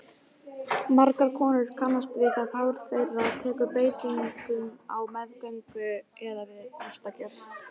Margar konur kannast við það hár þeirra tekur breytingum á meðgöngu eða við brjóstagjöf.